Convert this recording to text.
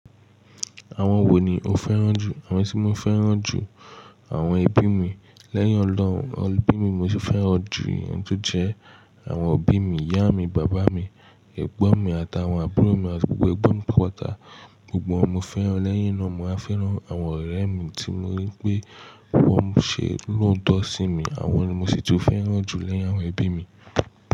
Àwọn wo ni o fẹ́ràn jù? Àwọn tí mo fẹ́ràn jù, àwọn ẹbí mi. Lẹ́yìn Ọlọ́run, ọbí mi mo sì fẹ́ràn ju ẹni tó jẹ́ àwọn òbí mi, ìyá mi, bàbá mi, ẹ̀gbọ́n mi àtàwọn àbúrò mi àti gbogbo ẹgbọ́n mi pátapatá. Gbogbo wọn mo fẹ́ràn. Lẹ́yìn náà, màá fẹ́ràn àwọn ọ̀rẹ́ mi tí mo rí pé wọ́n ṣe lóótọ́ sí mi. Àwọn ni mo sì tí fẹ́ràn jù lẹ́yìn àwọn ẹbí mi.